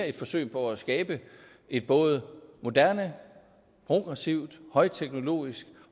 at forsøge på at skabe et både moderne progressivt højteknologisk